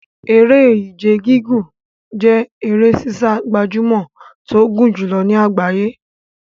Eré Ìje gígùn jẹ́ eré sísá gbajúmọ̀ tó gùn jùlọ ní àgbáyé.